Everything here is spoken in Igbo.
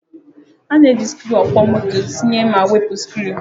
A na-eji sikruuokwomoto tinye ma wepụ sikruu